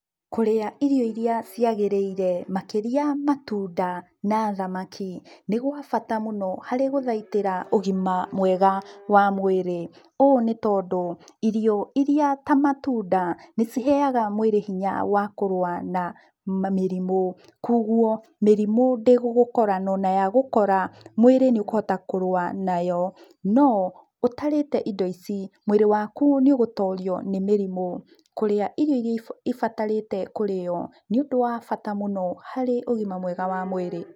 Kũrĩa irio iria ciagĩrĩire, makĩria matunda na thamaki, nĩgwa bata mũno harĩ gũthaitĩra ũgima mwega wa mwĩrĩ. Ũũ nĩ tondũ, irio iria ta matunda, nĩciheaga mwĩrĩ hinya wa kũrũa na mamĩrimũ, koguo mĩrimũ ndĩgũgũkora, na onayagũkora, mwĩrĩ nĩũkũhota kũrũa nayo, no ũtarĩte indo ici, mwĩrĩ waku nĩũgũtorio nĩ mũrimũ. Kũrĩa irio iria ibatarĩte kũrĩo, nĩ ũndũ wa bata mũno harĩ ũgima mwega wa mwĩrĩ.